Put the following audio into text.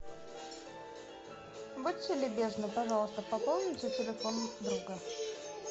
будьте любезны пожалуйста пополните телефон друга